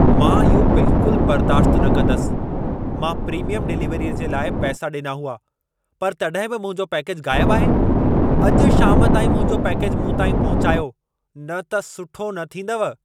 मां इहो बिल्कुल बर्दाश्ति न कंदसि! मां प्रीमियम डिलिवरीअ जे लाइ पैसा ॾिना हुआ। पर तॾहिं बि मुंहिंजो पैकेज ग़ाइब आहे! अॼु शाम ताईं मुंहिंजो पैकेज मूं ताईं पहुचायो, न त सुठो न थींदव।